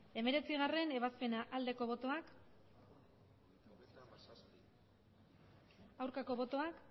hemeretzigarrena ebazpena aldeko botoak aurkako botoak